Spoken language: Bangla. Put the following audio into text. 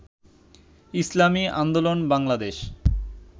ইসলামি আন্দোলন বাংলাদেশ